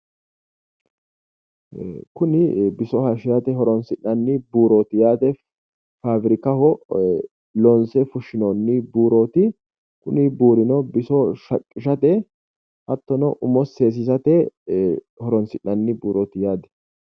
Kuni biso hayiishshirate horonsi'nanni buurooti yaate faabirikaho loonse fushshinoonni buurooti kuni buurino biso shaqqishate hattono umo seesiisate horonsi'nanni buurooti yaate.